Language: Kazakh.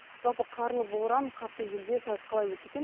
жалпы қарлы боран қатты желде сайыс қалай өтті екен